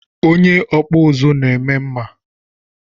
Onye okpu uzu na-eme mma